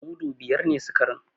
Mudu biyar ne sikarin.